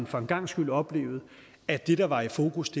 for en gangs skyld at opleve at det der var i fokus